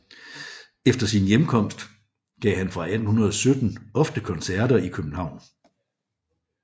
Efter sin hjemkomst gav han fra 1817 ofte koncerter i København